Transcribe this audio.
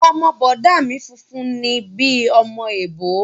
Ọmọ bọ̀dá mi funfun ni bíi ọmọ èbó